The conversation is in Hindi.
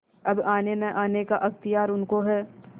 अब आनेनआने का अख्तियार उनको है